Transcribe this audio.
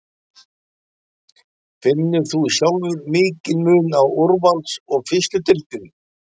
Finnur þú sjálfur mikinn mun á úrvals og fyrstu deildinni?